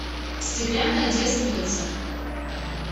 стеклянная девственница